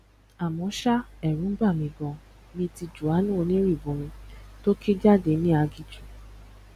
àmọ ṣá ẹrù ń bà mí ganan bíi ti jòhánù onírìbọmi tó ké jáde ní aginjù